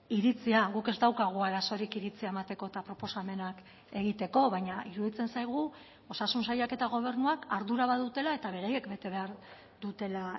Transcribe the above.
iritzia guk ez daukagu arazorik iritzia emateko eta proposamenak egiteko baina iruditzen zaigu osasun sailak eta gobernuak ardura badutela eta beraiek bete behar dutela